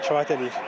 Kifayət eləyir.